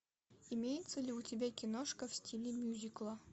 имеется ли у тебя киношка в стиле мюзикла